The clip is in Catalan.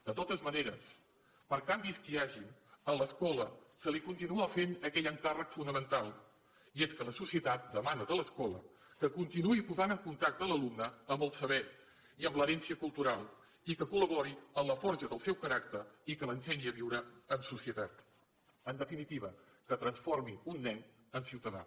de totes maneres per canvis que hi hagin a l’escola se li continua fent aquell encàrrec fonamental i és que la societat demana de l’escola que continuï posant en contacte l’alumne amb el saber i amb l’herència cultural i que col·labori en la forja del seu caràcter i que l’ensenyi a viure en societat en definitiva que transformi un nen en ciutadà